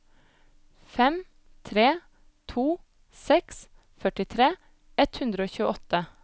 fem tre to seks førtitre ett hundre og tjueåtte